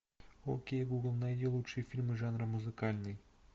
окей гугл найди лучшие фильмы жанра музыкальный